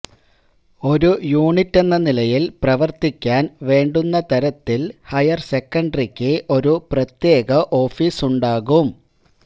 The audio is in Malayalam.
ഒരു യൂണിറ്റെന്ന നിലയിൽ പ്രവർത്തിക്കാൻ വേണ്ടുന്ന തരത്തിൽ ഹയർസെക്കൻഡറിക്ക് ഒരു പ്രത്യേക ഓഫീസുണ്ടാകും